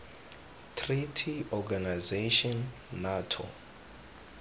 treaty organization nato